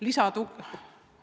Lisatuge?